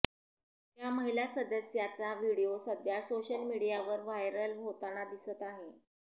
त्या महिला सदस्याचा व्हिडिओ सध्या सोशल मीडियावर व्हायरल होताना दिसत आहे